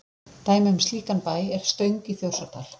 dæmi um slíkan bæ er stöng í þjórsárdal